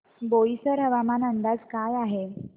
बोईसर हवामान अंदाज काय आहे